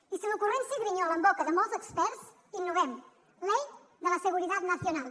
i si l’ocurrència grinyola en boca de molts experts innovem ley de la seguridad nacional